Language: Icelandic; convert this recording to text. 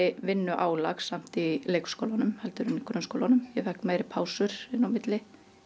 vinnuálag samt í leikskólanum heldur en í grunnskólanum ég fékk meiri pásur inn á milli